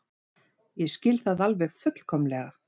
Ég skil það alveg fullkomlega.